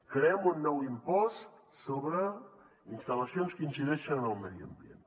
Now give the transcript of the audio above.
creem un nou impost sobre instal·lacions que incideixen en el medi ambient